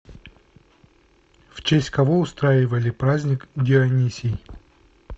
в честь кого устраивали праздник дионисий